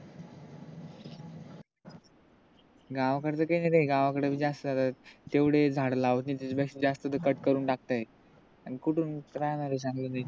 गावाकडच काही नाही गावाकडच बी जास्त तेवढे झाड लावत नाही त्याच्यापेक्षा जास्त तर cut करून टाकते आणि कुटून काय माहित चांगल नाही